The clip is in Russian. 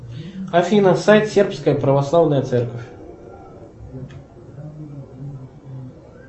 афина сайт сербская православная церковь